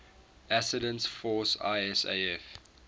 assistance force isaf